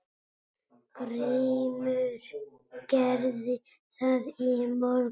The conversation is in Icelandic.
GRÍMUR: Gerði það í morgun!